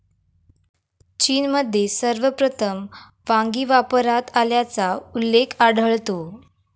चीनमध्ये सर्वप्रथम वांगी वापरात आल्याचा उल्लेख आढळतो.